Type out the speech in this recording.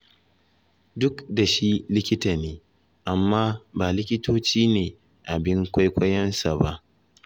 Duk da shi likita ne, amma ba likitoci ne abin kwaikwayonsa ba.